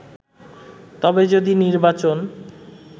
তবে যদি নির্বাচন